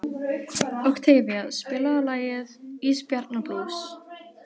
Oktavía, spilaðu lagið „Ísbjarnarblús“.